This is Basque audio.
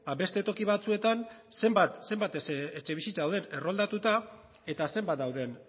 ba beste toki batzuetan zenbat etxebizitza dauden erroldatuta eta zenbat dauden